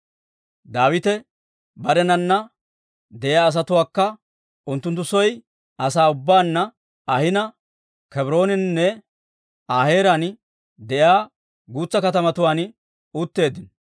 Daawite barenana de'iyaa asatuwaakka unttunttu soo asaa ubbaanna ahina, Kebrooneninne Aa heeraan de'iyaa guutsa katamatuwaan utteeddino.